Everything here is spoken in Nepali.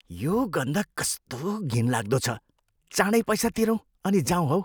यो गन्ध कस्तो घिनलाग्दो छ। चाँडै पैसा तिरौँ अनि जाऊँ हौ।